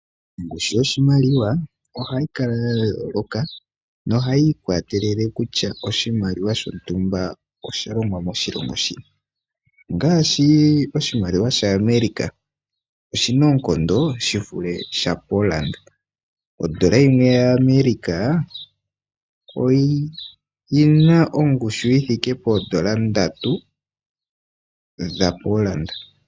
Ongushu yoshimaliwa ohayi kala ya yooloka nohayi ikwatelele kutya oshimaliwa shontumba osha longwa moshilongo shini. Ongaashi oshimaliwa shaAmerica oshi na oonkondo shi vule shaPolanda. Odola yimwe yaAmerica oyi na ongushu yi thike poodola ndatu dhaPolanda.